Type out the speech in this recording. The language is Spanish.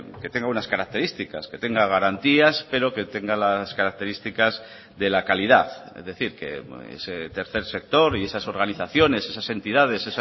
que tenga unas características que tenga garantías pero que tenga las características de la calidad es decir que ese tercer sector y esas organizaciones esas entidades